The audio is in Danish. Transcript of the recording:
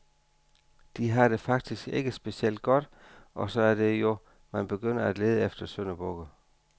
De har det faktisk ikke specielt godt og så er det jo, man begynder at lede efter syndebukke.